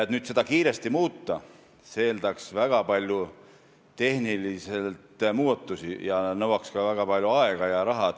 Et seda kiiresti muuta, läheks vaja väga palju tehnilisi muudatusi, mis nõuaks väga palju aega ja raha.